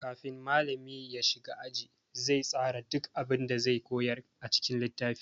Kafin malami ya shiga aji, zai tsara duk abun da zai koyar a cikin littafi.